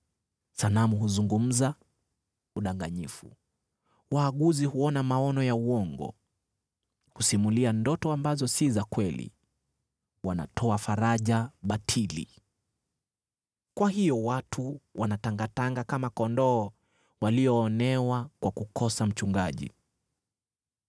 Sanamu huzungumza udanganyifu, waaguzi huona maono ya uongo; husimulia ndoto ambazo si za kweli, wanatoa faraja batili. Kwa hiyo watu wanatangatanga kama kondoo walioonewa kwa kukosa mchungaji.